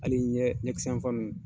Hali ɲɛ ɲɛkisɛ yanfan ninnu.